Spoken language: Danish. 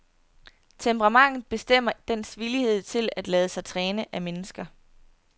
Temperamentet bestemmer dens villighed til at lade sig træne af mennesker.